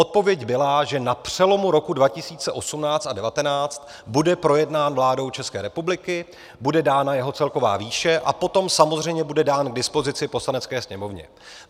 Odpověď byla, že na přelomu roku 2018 a 2019 bude projednán vládou České republiky, bude dána jeho celková výše a potom samozřejmě bude dán k dispozici Poslanecké sněmovně.